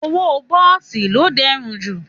Òwó bọsí lò dẹ rún jú